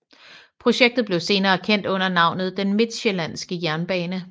Projektet blev senere kendt under navnet Den Midtsjællandske Jernbane